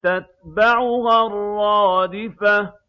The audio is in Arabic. تَتْبَعُهَا الرَّادِفَةُ